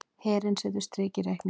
Herinn setur strik í reikninginn